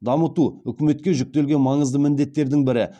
дамыту үкіметке жүктелген маңызды міндеттердің бірі